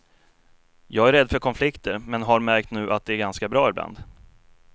Jag är rädd för konflikter, men har märkt nu att de är ganska bra ibland.